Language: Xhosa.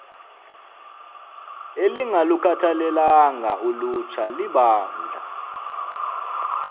elingalukhathalelanga ulutsha libandla